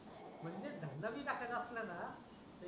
म्हटलं धंदा धंदा बी टाकायचा असेल ना